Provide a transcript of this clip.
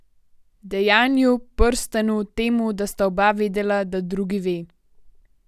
Dejanju, prstanu, temu, da sta oba vedela, da drugi ve.